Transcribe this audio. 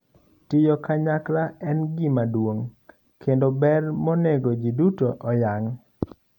Tiyo kanyakla en gima duong' kendo ber monego ji duto oyang.